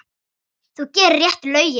Þú gerir réttu lögin.